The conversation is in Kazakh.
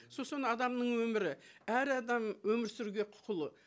сосын адамның өмірі әр адам өмір сүруге құқылы